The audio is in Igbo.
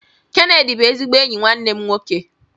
Kenedy bụ ezigbo enyi nwanne m nwoke